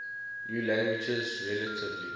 new languages relatively